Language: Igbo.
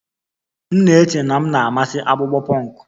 M na-eche na m na-amasị akpụkpọ punk